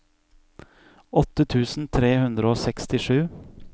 åtte tusen tre hundre og sekstisju